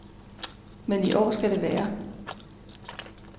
Men i år skal det være.